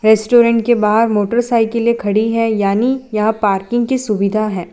Restaurant के बाहर मोटरसाइकिलें में खड़ी है यानी या पार्किंग की सुविधा है।